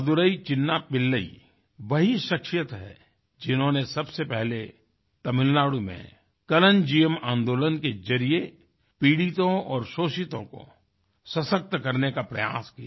मदुरै चिन्ना पिल्लई वही शख्सियत हैं जिन्होंने सबसे पहले तमिलनाडु में कलन्जियम आन्दोलन के जरिए पीड़ितों और शोषितों को सशक्त करने का प्रयास किया